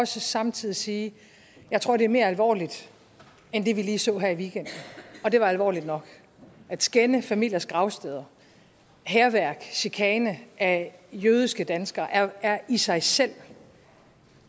samtidig sige at jeg tror det er mere alvorligt end det vi lige så her i weekenden og det var alvorligt nok at skænde familiers gravsteder hærværk chikane af jødiske danskere er i sig selv